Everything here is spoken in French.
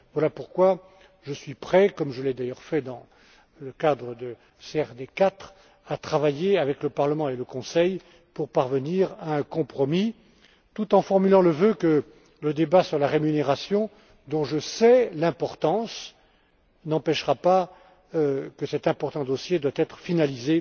Voilà pourquoi je suis prêt, comme je l'ai d'ailleurs fait dans le cadre de la CRD IV, à travailler avec le Parlement et le Conseil pour parvenir à un compromis, tout en formant le vœu que le débat sur la rémunération, dont je sais l'importance, n'empêchera pas cet important dossier d'être finalisé